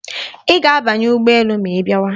Ị ga-abanye ụgbọ elu ma ị bịawa.